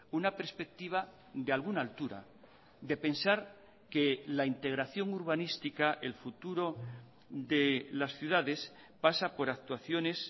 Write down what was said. una perspectiva de alguna altura de pensar que la integración urbanística el futuro de las ciudades pasa por actuaciones